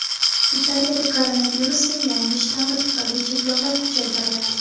Italiyada koronavirusning yangi shtammi tufayli cheklovlar kuchaytiriladi.